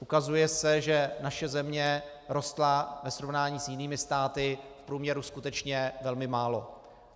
Ukazuje se, že naše země rostla ve srovnání s jinými státy v průměru skutečně velmi málo.